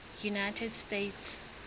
united states